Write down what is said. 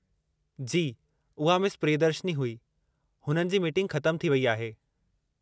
जी, उहा मिस प्रियदर्शिनी हुई, हुननि जी मीटिंग ख़तमु थी वेई आहे।